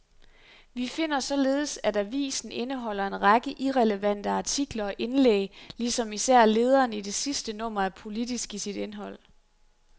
Vi finder således, at avisen indeholder en række irrelevante artikler og indlæg, ligesom især lederen i det sidste nummer er politisk i sit indhold.